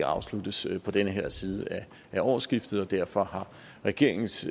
afsluttes på den her side af årsskiftet og derfor har regeringens